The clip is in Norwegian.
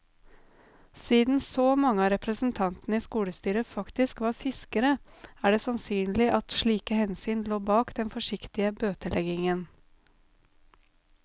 Siden så mange av representantene i skolestyret faktisk var fiskere, er det sannsynlig at slike hensyn lå bak den forsiktige bøteleggingen.